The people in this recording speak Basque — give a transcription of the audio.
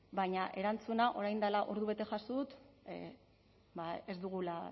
baina erantzuna orain dela ordubete jaso dut ba